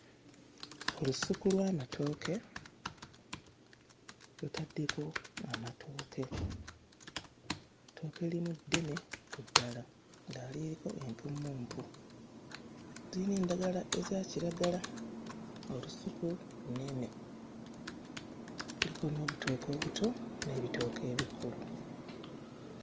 Olusuku lw'amatooke lutaddeko amatooke, ettooke erimu ddene ku ddala, eddala lirina empummumpu, liyina endagala ezakiragala. Olusuku lunene kuliko n'obutooke obuto n'ebitooke ebikulu.